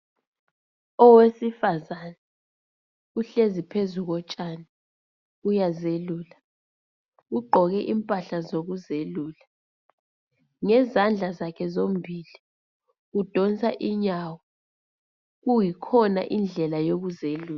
Owesifazana uhlezi phezu kotshani uyazelula, ugqoke impahla zokuzelula ngezandla zakhe zombili udonsa inyawo kuyikhona indlela yokuzelula.